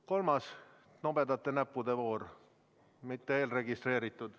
Kolmas, nobedate näppude voor, mitte eelregistreeritud.